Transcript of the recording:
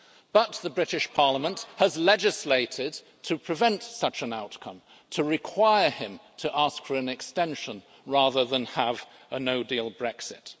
But the British Parliament has legislated to prevent such an outcome and to require him to ask for an extension rather than have a no-deal Brexit.